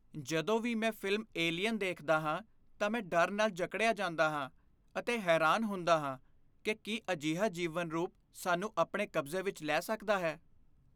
ਜਦੋਂ ਵੀ ਮੈਂ ਫ਼ਿਲਮ "ਏਲੀਅਨ" ਦੇਖਦਾ ਹਾਂ ਤਾਂ ਮੈਂ ਡਰ ਨਾਲ ਜਕੜਿਆਂ ਜਾਂਦਾ ਹਾਂ ਅਤੇ ਹੈਰਾਨ ਹੁੰਦਾ ਹਾਂ ਕਿ ਕੀ ਅਜਿਹਾ ਜੀਵਨ ਰੂਪ ਸਾਨੂੰ ਆਪਣੇ ਕਬਜ਼ੇ ਵਿੱਚ ਲੈ ਸਕਦਾ ਹੈ।